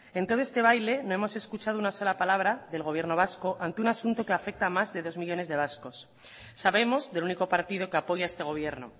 en todo este baile no hemos escuchado ni una sola palabra del gobierno vasco ante un asunto que afecta a más de dos millónes de vascos sabemos del único partido que apoya a este gobierno